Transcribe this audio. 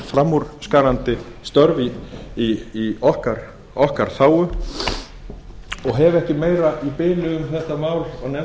framúrskarandi störf í okkar þágu og hef ekki meira í bili um þetta mál